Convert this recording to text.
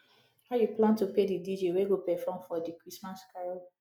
how you plan to pay the dj wey go perform for di christmas carol